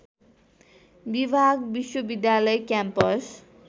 विभाग विश्वविद्यालय क्याम्पस